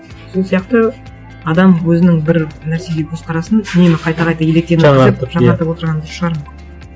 сол сияқты адам өзінің бір нәрсеге көзқарасын үнемі қайта қайта електен өткізіп жаңартып отырған шығар мүмкін